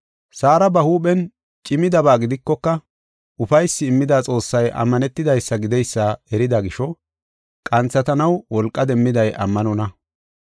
Saara ba huuphen cimidabaa gidikoka ufaysi immida Xoossay ammanetidaysa gideysa erida gisho qanthatanaw wolqa demmiday ammanonna.